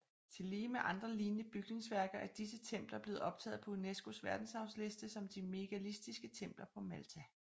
Tillige med andre lignende bygningsværker er disse templer blevet optaget på UNESCOs Verdensarvsliste som de megalitiske templer på Malta